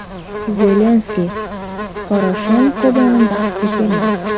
Zelenskiy Poroshenko bilan bahsga kelmadi.